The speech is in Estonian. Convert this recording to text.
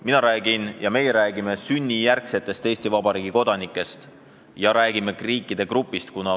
Mina räägin ja meie räägime sünnijärgsetest Eesti Vabariigi kodanikest ja räägime ka teatud riikide grupist.